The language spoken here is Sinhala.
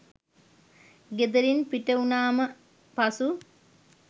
ගෙදරින් පිටවුණාම පසු